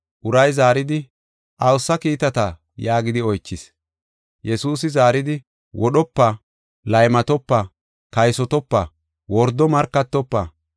Uray zaaridi, “Awusa kiitata” yaagidi oychis. Yesuusi zaaridi, “Wodhopa, laymatopa, kaysotopa, wordo markatofa,